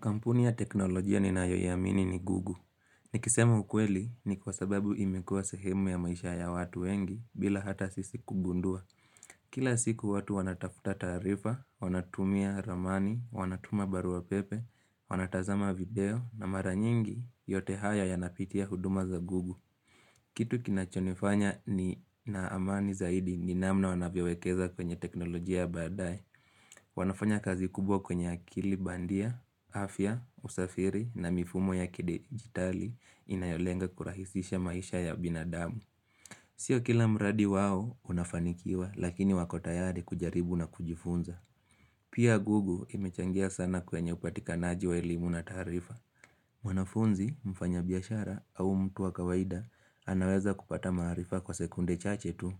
Kampuni ya teknolojia ninayoyamini ni google. Nikisema ukweli ni kwa sababu imekuwa sehemu ya maisha ya watu wengi bila hata sisi kugundua. Kila siku watu wanatafuta taarifa, wanatumia ramani, wanatuma barua pepe, wanatazama video na mara nyingi yote haya yanapitia huduma za google. Kitu kinachonifanya ninaamani zaidi ni namna wanavyewekeza kwenye teknolojia ya baadae. Wanafanya kazi kubwa kwenye akili bandia, afya, usafiri na mifumo ya kidigitali inayolenga kurahisisha maisha ya binadamu Sio kila mradi wao unafanikiwa lakini wako tayari kujaribu na kujifunza Pia google imechangia sana kwenye upatikanaji wa elimu na taarifa wanafunzi mfanya biashara au mtu wa kawaida anaweza kupata maarifa kwa sekunde chache tu